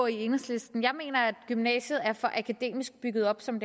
i enhedslisten jeg mener at gymnasiet er for akademisk bygget op som